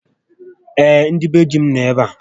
Ee, ndị be dí m nọ ebe a